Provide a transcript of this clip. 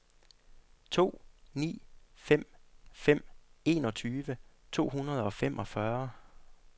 to ni fem fem enogtyve to hundrede og femogfyrre